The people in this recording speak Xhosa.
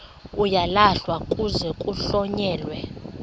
uyalahlwa kuze kuhlonyelwe